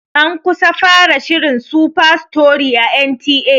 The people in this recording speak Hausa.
An kusa fara shirin "Superstory"a N T A.